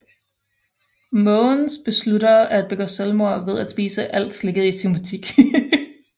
Måvens beslutter at begå selvmord ved at spise alt slikket i sin butik